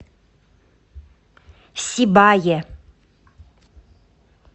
сибае